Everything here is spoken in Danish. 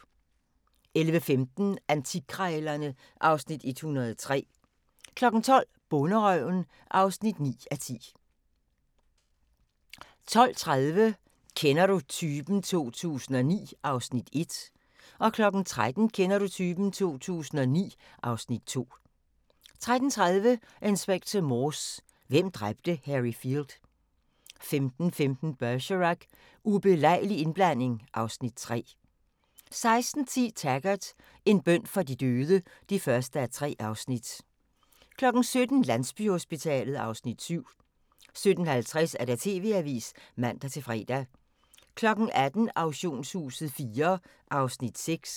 11:15: Antikkrejlerne (Afs. 103) 12:00: Bonderøven (9:10) 12:30: Kender du typen? 2009 (Afs. 1) 13:00: Kender du typen? 2009 (Afs. 2) 13:30: Inspector Morse: Hvem dræbte Harry Field? 15:15: Bergerac: Ubelejlig indblanding (Afs. 3) 16:10: Taggart: En bøn for de døde (1:3) 17:00: Landsbyhospitalet (Afs. 7) 17:50: TV-avisen (man-fre) 18:00: Auktionshuset IV (Afs. 6)